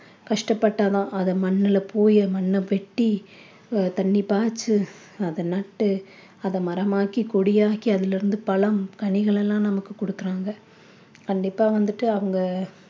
கஷ்டப்பட்டா தான் அதை மண்ணுல போய் மண்ண வெட்டி அஹ் தண்ணி பாய்ச்சி அத நட்டு அதை மரமாக்கி கொடியாக்கி அதிலிருந்து பழம் கனிகளெல்லாம் நமக்கு குடுக்குறாங்க கண்டிப்பா வந்துட்டு அவங்க